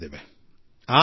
ಅನೇಕ ಚರ್ಚೆಗಳಾಗಿವೆ